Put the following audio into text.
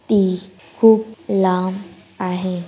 T को लाम आहे।